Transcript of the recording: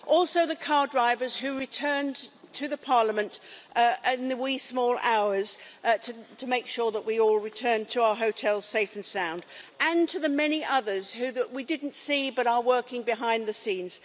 Also the car drivers who returned to the Parliament in the wee small hours to make sure that we all returned to our hotels safe and sound and to the many others that we didn't see but are working behind the scenes.